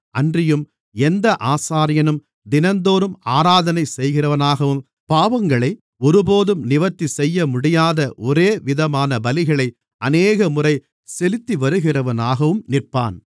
அன்றியும் எந்த ஆசாரியனும் தினந்தோறும் ஆராதனை செய்கிறவனாகவும் பாவங்களை ஒருபோதும் நிவர்த்திசெய்யமுடியாத ஒரேவிதமான பலிகளை அநேகமுறை செலுத்திவருகிறவனாகவும் நிற்பான்